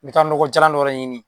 N bɛ taa nɔgɔ jalan dɔwɛrɛ ɲini